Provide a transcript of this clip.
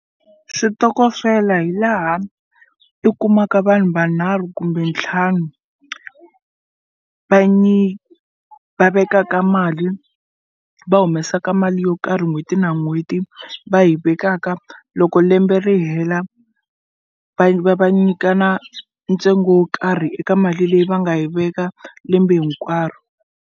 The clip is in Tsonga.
Switokofela hi laha i kumaka vanhu vanharhu kumbe ntlhanu va vekaka mali va humesaka mali yo karhi n'hweti na n'hweti va yi vekaka loko lembe ri hela va nyikana ntsengo wo karhi eka mali leyi va nga yi veka lembe hinkwaro.